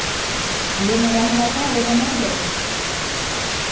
E eu morava lá com a outra, mais velha.